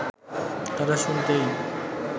তারা শুরুতেই